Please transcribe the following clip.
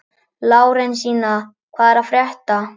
Lárensína, hvað er að frétta?